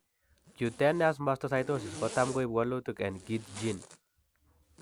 Cutaneous mastocytosis kotam koibu walutik en KIT gene